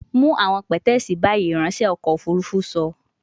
Mu awọn pẹtẹẹsì bayi, iranṣẹ ọkọ ofurufu sọ